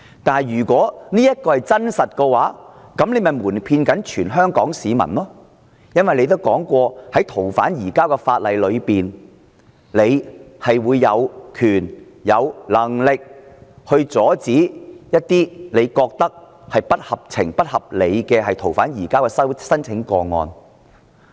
但是，如果這是真相，那麼她便是瞞騙全香港市民，因為她曾說，是次修訂逃犯移交法例，特首有權、有能力阻止她認為不合情、不合理的逃犯移交申請。